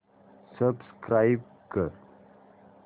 subscribe कर